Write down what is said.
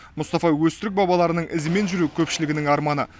мұстафа өзтүрік бабаларының ізімен жүру көпшілігінің арманы